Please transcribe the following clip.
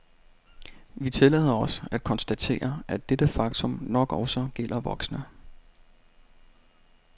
Vi tillader os at konstatere, at dette faktum nok også gælder voksne.